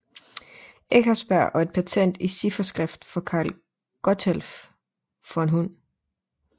Eckersberg og et patent i cifferskrift for Karl Gotthelf von Hund